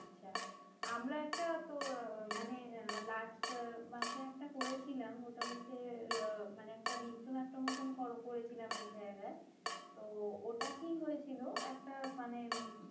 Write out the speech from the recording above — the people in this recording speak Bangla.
আচ্ছা, আমরা একটা মানে last মাসে একটা করেছিলাম, ওটা হচ্ছে মানে একটা নৃত্যনাট্য মতন কল করেছিলাম, এক জায়গায় তো ওটা কি হয়েছিল একটা মানে